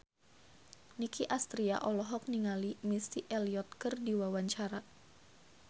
Nicky Astria olohok ningali Missy Elliott keur diwawancara